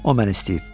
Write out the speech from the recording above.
O məni istəyib.